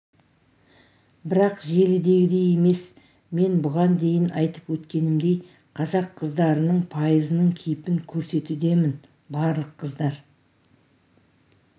бірақ желідегідей емес мен бұған дейін айтып өткенімдей қазақ қыздарының пайызының кейпін көрсетудемін барлық қыздар